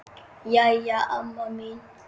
Jæja amma mín.